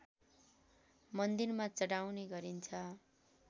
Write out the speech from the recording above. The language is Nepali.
मन्दिरमा चढाउने गरिन्छ